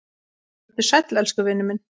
Vertu sæll elsku vinur minn.